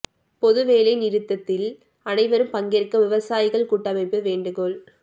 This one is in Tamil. பொது வேலை நிறுத்தத்தில் அனைவரும் பங்கேற்க விவசாயிகள் கூட்டமைப்பு வேண்டுகோள்